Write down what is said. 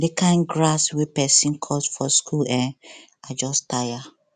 the kin grass wey person cut for school eh i just tire